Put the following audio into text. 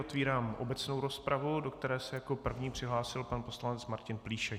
Otvírám obecnou rozpravu, do které se jako první přihlásil pan poslanec Martin Plíšek.